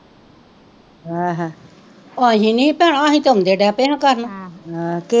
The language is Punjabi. ਹ ਹ ਓਹ ਅਹੀ ਨੀ ਭੈਣੋ ਅਹੀ ਤਾਂ ਆਉਂਦੇ ਡਿਹ ਪਏ ਕਰਨ,